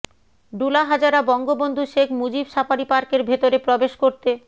Dulahazara Bangabandhu Sheikh Mujib safari পার্কের ভেতরে প্রবেশ করতে